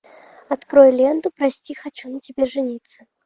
открой ленту прости хочу на тебе жениться